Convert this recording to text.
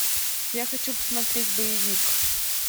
я хочу посмотреть боевик